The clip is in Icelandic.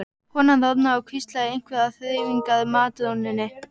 Konan roðnaði og hvíslaði einhverju að þreifingar- matrónunni.